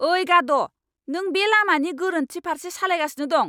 ओइ, गाद'। नों बे लामानि गोरोन्थि फारसे सालायगासिनो दं।